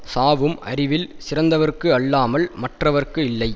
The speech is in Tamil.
சாவும் அறிவில் சிறந்தவர்க்கு அல்லாமல் மற்றவர்க்கு இல்லை